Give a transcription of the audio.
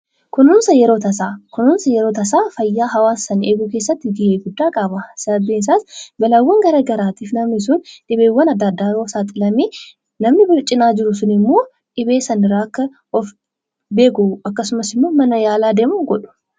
Kunuunsi yeroo tasaa fayyaa hawaasaa eeguu keessatti gahee guddaa qaba. Sababbiin isaas namni balaa adda addaaf yoo saaxilame namni isa biraa sun immoo akka inni gara mana yaalaa deemu godhu.